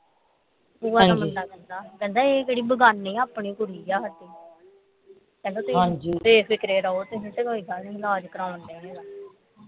ਭੂਆ ਦਾ ਮੁੰਡਾ ਕਹਿੰਦਾ ਕਹਿੰਦਾ ਇਹ ਕਿਹੜੀ ਬੇਗਾਨੀ ਆ ਆਪਣੀ ਕੁੜੀ ਆ ਕਹਿੰਦਾ ਬੇਫਿਕਰੇ ਰਹੋ ਤੇ ਕੋਈ ਗੱਲ ਨਹੀਂ ਇਲਾਜ ਕਰਾਉਣ ਢਏ ਮੇਰਾ